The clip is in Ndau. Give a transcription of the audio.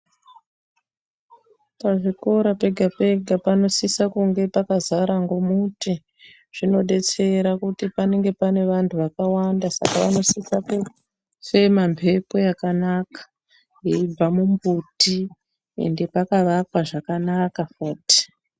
Pazvikora pega pega panosise kunge pakazara ngomuti zvinodetsera kuti panenge pane vantu vakawanda saka vanosisa kufema mhepo yakanaka yeibva mumbuti ende pakavakwa zvakanaka futi.